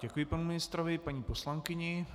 Děkuji panu ministrovi, paní poslankyni.